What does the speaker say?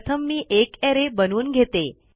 प्रथम मी एक अरे बनवून घेते